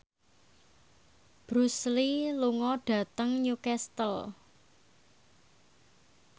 Bruce Lee lunga dhateng Newcastle